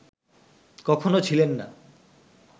কখনও ছিলেন না